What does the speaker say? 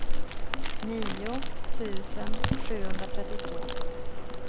nio tusen sjuhundratrettiotvå